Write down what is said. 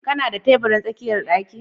Kana da tabirin tsakiyar ɗaki?